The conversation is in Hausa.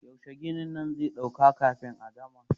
Yaushe ginin nan zai ɗauka kafin a gama?